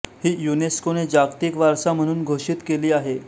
हि युनेस्कोने जागतिक वारसा म्हणून घोषित केली आहे